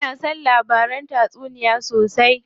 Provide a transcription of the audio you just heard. Ina son labaran tatsuniya sosai.